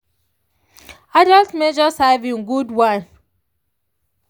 adults measure servings good one.